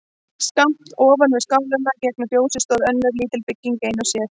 Skammt ofan við skálann gegnt fjósinu stóð önnur lítil bygging ein og sér.